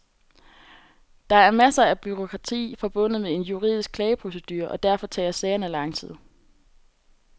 Der er masser af bureaukrati forbundet med en juridisk klageprocedure, og derfor tager sagerne lang tid.